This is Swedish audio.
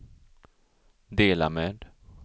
dela med